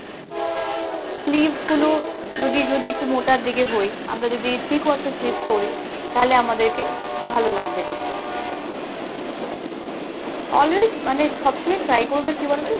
sleeves গুলো যদি যদি একটু মোটা দিকে হই আমরা যদি three quarter sleeves পোরি তাহলে আমাদেরকে ভালো লাগবে দেখতে, always মানে সবসময় try করবে কি বলতো